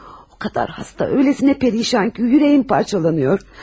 O qədər xəstə, elə pərişandır ki, ürəyim parçalanır.